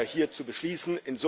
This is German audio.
hier zu beschließen.